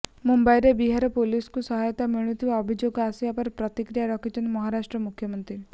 ମୁମ୍ବାଇରେ ବିହାର ପୋଲିସ୍କୁ ସହାୟତା ମିଳୁନଥିବା ଅଭିଯୋଗ ଆସିବା ପରେ ପ୍ରତିକ୍ରିୟା ରଖିଛନ୍ତି ମହାରାଷ୍ଟ୍ର ମୁଖ୍ୟମନ୍ତ୍ରୀ